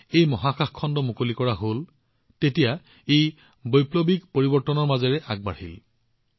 যিহেতু মহাকাশ খণ্ডটো ভাৰতৰ যুৱসকলৰ বাবে মুকলি কৰা হৈছে ইয়াত বৈপ্লৱিক পৰিৱৰ্তন আহিবলৈ আৰম্ভ কৰিছে